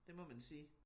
Det må man sige